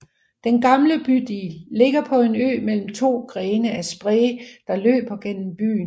Den gamle bydel ligger på en ø mellem to grene af Spree der løber gennem byen